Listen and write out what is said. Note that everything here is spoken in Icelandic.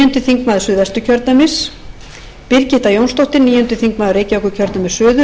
þingmaður suðvesturkjördæmis birgitta jónsdóttir níundi þingmaður reykv suður í